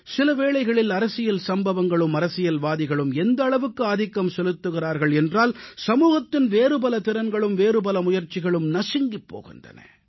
சில வேளைகளில் அரசியல் சம்பவங்களும் அரசியல்வாதிகளும் எந்த அளவுக்கு ஆதிக்கம் செலுத்துகிறார்கள் என்றால் சமூகத்தின் வேறுபல திறன்களும் வேறுபல முயற்சிகளும் நசுங்கிப் போகின்றன